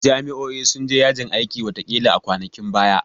Jami'o'i sun je yajin aikin watakila a kwanakin baya